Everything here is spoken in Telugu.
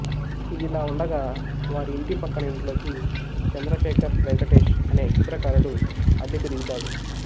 ఇదిలా ఉండగా వారి ఇంటి పక్కన ఇంట్లోకి చంద్రశేఖర్ వెంకటేష్ అనే చిత్రకారుడు అద్దెకు దిగుతాడు